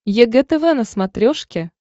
егэ тв на смотрешке